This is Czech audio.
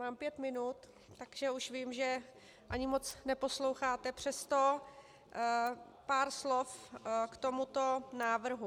Mám pět minut, takže už vím, že ani moc neposloucháte, přesto pár slov k tomuto návrhu.